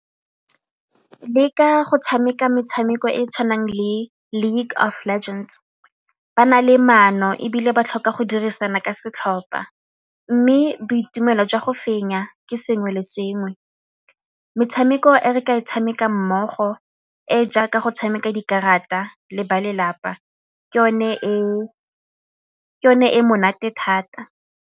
Leka go tshameka metshameko e e tshwanang le League of Legends, ba na le maano ebile ba tlhoka go dirisana ka setlhopa mme boitumelo jwa go fenya ke sengwe le sengwe. Metshameko e re ka e tshameka mmogo e e jaaka go tshameka dikarata le ba lelapa ke yone e monate thata.